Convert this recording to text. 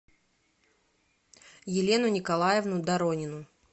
елену николаевну доронину